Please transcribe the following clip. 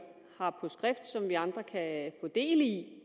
har på skrift og som vi andre kan få del i